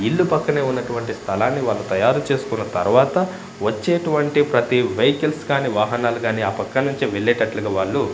ఇల్లు పక్కనే ఉన్నటువంటి స్థలాన్ని వాళ్ళు తయారు చేసుకున్న తరువాత వచ్చేటువంటి ప్రతి వెహికల్స్ కానీ వాహనాలు కానీ ఆ పక్కన్నుంచీ వెళ్లేటట్లుగా వాళ్ళు.